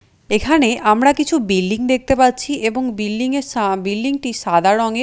এখানে আমরা কিছু বিল্ডিং দেখতে পাচ্ছি এবং বিল্ডিং -এর সা বিল্ডিং -টি সাদা রঙের।